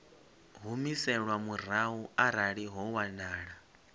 humiselwa murahu arali ho wanala